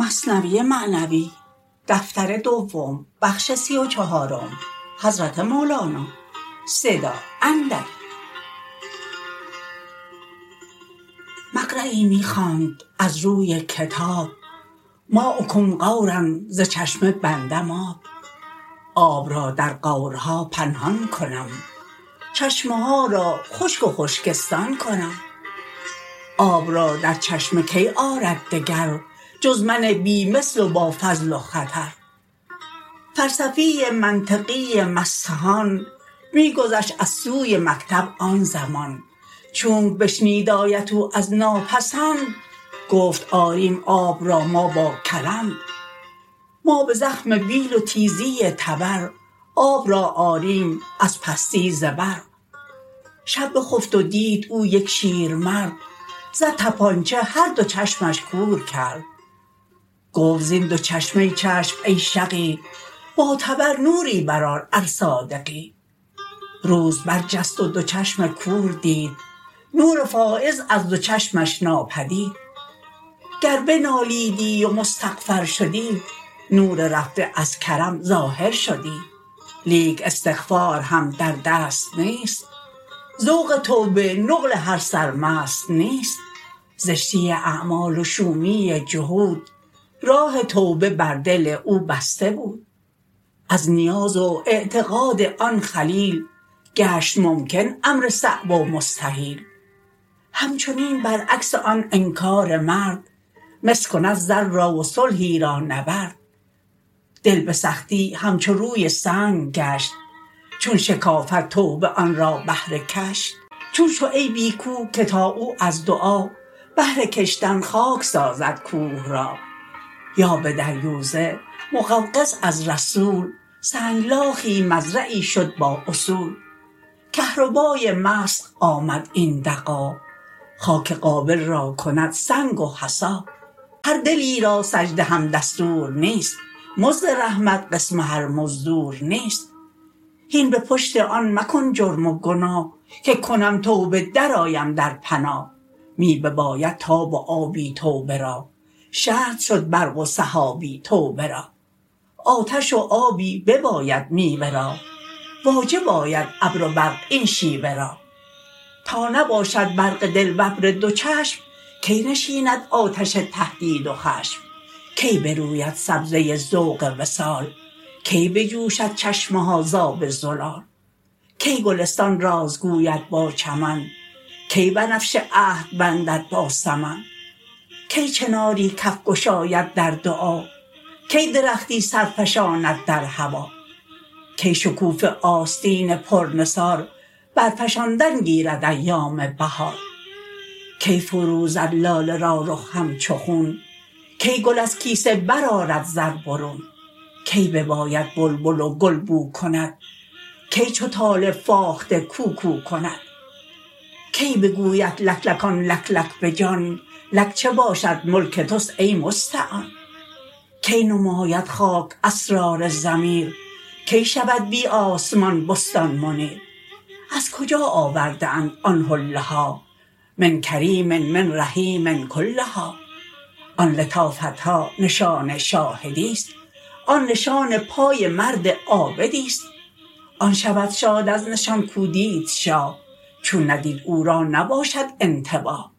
مقریی می خواند از روی کتاب ماؤکم غورا ز چشمه بندم آب آب را در غورها پنهان کنم چشمه ها را خشک و خشکستان کنم آب را در چشمه کی آرد دگر جز من بی مثل و با فضل و خطر فلسفی منطقی مستهان می گذشت از سوی مکتب آن زمان چونک بشنید آیت او از ناپسند گفت آریم آب را ما با کلند ما به زخم بیل و تیزی تبر آب را آریم از پستی زبر شب بخفت و دید او یک شیرمرد زد طبانچه هر دو چشمش کور کرد گفت زین دو چشمه چشم ای شقی با تبر نوری بر آر ار صادقی روز بر جست و دو چشم کور دید نور فایض از دو چشمش ناپدید گر بنالیدی و مستغفر شدی نور رفته از کرم ظاهر شدی لیک استغفار هم در دست نیست ذوق توبه نقل هر سرمست نیست زشتی اعمال و شومی جحود راه توبه بر دل او بسته بود از نیاز و اعتقاد آن خلیل گشت ممکن امر صعب و مستحیل همچنین بر عکس آن انکار مرد مس کند زر را و صلحی را نبرد دل بسختی همچو روی سنگ گشت چون شکافد توبه آن را بهر کشت چون شعیبی کو که تا او از دعا بهر کشتن خاک سازد کوه را یا به دریوزه مقوقس از رسول سنگ لاخی مزرعی شد با اصول کهربای مسخ آمد این دغا خاک قابل را کند سنگ و حصا هر دلی را سجده هم دستور نیست مزد رحمت قسم هر مزدور نیست هین به پشت آن مکن جرم و گناه که کنم توبه در آیم در پناه می بباید تاب و آبی توبه را شرط شد برق و سحابی توبه را آتش و آبی بباید میوه را واجب آید ابر و برق این شیوه را تا نباشد برق دل و ابر دو چشم کی نشیند آتش تهدید و خشم کی بروید سبزه ذوق وصال کی بجوشد چشمه ها ز آب زلال کی گلستان راز گوید با چمن کی بنفشه عهد بندد با سمن کی چناری کف گشاید در دعا کی درختی سر فشاند در هوا کی شکوفه آستین پر نثار بر فشاندن گیرد ایام بهار کی فروزد لاله را رخ همچو خون کی گل از کیسه بر آرد زر برون کی بیاید بلبل و گل بو کند کی چو طالب فاخته کوکو کند کی بگوید لک لک آن لک لک بجان لک چه باشد ملک تست ای مستعان کی نماید خاک اسرار ضمیر کی شود بی آسمان بستان منیر از کجا آورده اند آن حله ها من کریم من رحیم کلها آن لطافتها نشان شاهدیست آن نشان پای مرد عابدیست آن شود شاد از نشان کو دید شاه چون ندید او را نباشد انتباه